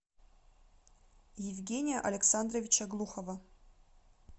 евгения александровича глухова